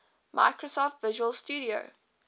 microsoft visual studio